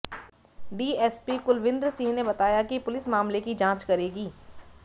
DSP Kulvinder Singh ने बताया कि पुलिस मामले की जांच करेगी